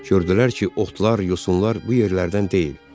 Gördülər ki, otlar, yosunlar bu yerlərdən deyil.